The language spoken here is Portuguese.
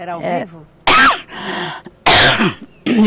Era